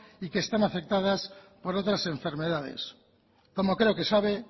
y que están afectadas por otras enfermedades como creo que sabe